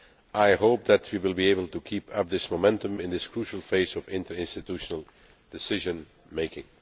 I hope that we will be able to keep up this momentum in this crucial phase of interinstitutional decision making.